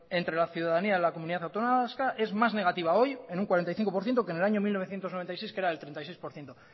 entre la ciudadanía en la comunidad autónoma vasca es más negativa hoy en un cuarenta y cinco por ciento que en el año mil novecientos noventa y seis que era del treinta y seis por ciento